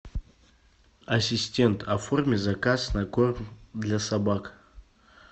ассистент оформи заказ на корм для собак